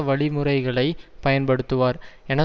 வழிமுறைகளை பயன்படுத்துவார் என